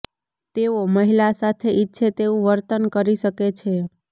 તેઓ મહિલા સાથે ઈચ્છે તેવું વર્તન કરી શકે છે